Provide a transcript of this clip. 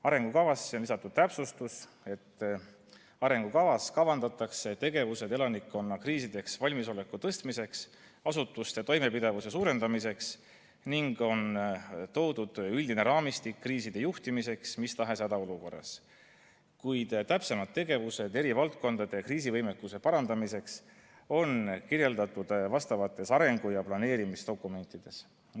Arengukavasse on lisatud täpsustus, et arengukavas kavandatakse tegevused elanikkonna kriisideks valmisoleku tõstmiseks ja asutuste toimepidevuse suurendamiseks, ning on toodud üldine raamistik kriiside juhtimiseks mis tahes hädaolukorras, kuid täpsemad tegevused eri valdkondade kriisivõimekuse parandamiseks on kirjeldatud vastavates arengu‑ ja planeerimisdokumentides.